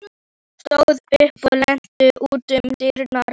Hún stóð upp og leit út um dyrnar.